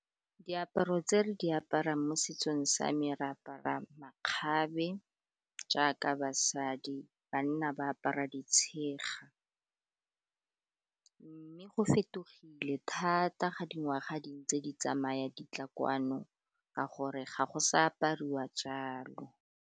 Diaparo tse re di aparang mo setsong sa me re apara makgabe jaaka basadi, banna ba apara ditshega, mme go fetogile thata ga dingwaga dintse di tsamaya di tla kwano ka gore ga go sa apariwa jalo.